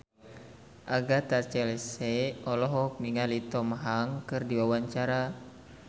Agatha Chelsea olohok ningali Tom Hanks keur diwawancara